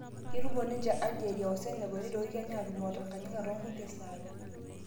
Ketumo ninje Aligeria o Senegal, neioki Kenya aatumo o Tanganyika toonkulie saai